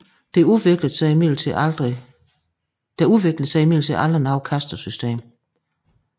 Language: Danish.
Der udviklede sig imidlertid aldrig noget kastesystem